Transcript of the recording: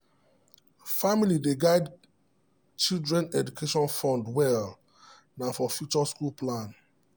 family dey guide children education fund well na for future school plan.